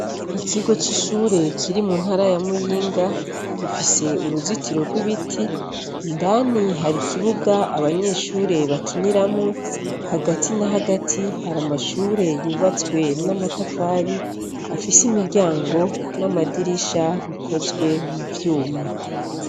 Ikigo c'ishure kiri mu ntara ya Muyinga, gifise uruzitiro rw'ibiti , indani hari ikibuga abanyeshure bakiniramwo, hagati na hagati hari amashure yubatswe n'amatafari, afise imiryango n'amadirisha bikozwe mu vyuma.